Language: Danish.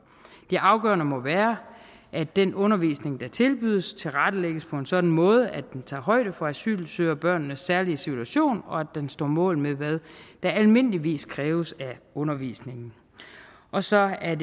det afgørende må være at den undervisning der tilbydes tilrettelægges på en sådan måde at den tager højde for asylsøgerbørnenes særlige situation og at den står mål med hvad der almindeligvis kræves af undervisningen og så er